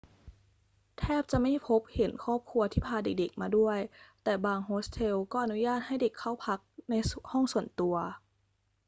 แทบจะไม่พบเห็นครอบครัวที่พาเด็ก ๆ มาด้วย แต่บางโฮสเทลก็อนุญาตให้เด็กเข้าพักในห้องส่วนตัว